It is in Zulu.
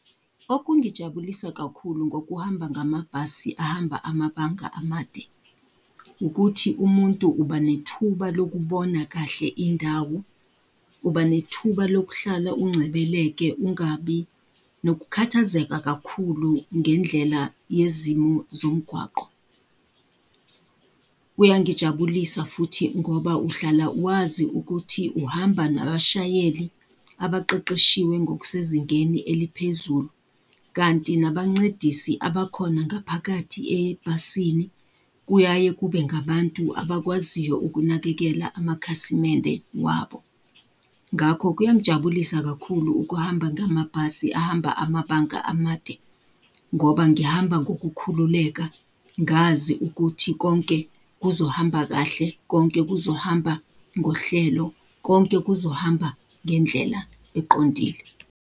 Okungijabulisa kakhulu ngokuhamba ngamabhasi ahamba amabanga amade, ukuthi umuntu uba nethuba lokubona kahle indawo, uba nethuba lokuhlala uncebeleke ungabi nokukhathazeka kakhulu ngendlela yezimo zomgwaqo. Kuyangijabulisa futhi ngoba uhlala wazi ukuthi uhamba nabashayeli abaqeqeshiwe ngokusezingeni eliphezulu, kanti nabancedisi abakhona ngaphakathi ebhasini kuyaye kube ngabantu abakwaziyo ukunakekela amakhasimende wabo. Ngakho kuyangijabulisa kakhulu ukuhamba ngamabhasi ahamba amabanga amade, ngoba ngihamba ngokukhululeka ngazi ukuthi konke kuzohamba kahle, konke kuzohamba ngohlelo, konke kuzohamba ngendlela eqondile.